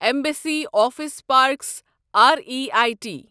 embassy Office Parks R E I T